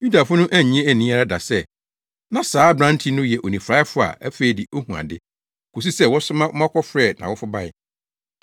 Yudafo no annye anni ara da sɛ, na saa aberante no yɛ onifuraefo a afei de ohu ade, kosi sɛ wɔsoma ma wɔkɔfrɛɛ nʼawofo bae,